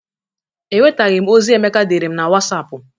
Enwetaghị m ozi Emeka deere m na Wasapụ.